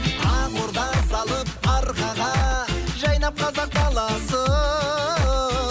ақ орда салып арқаға жайнап қазақ даласы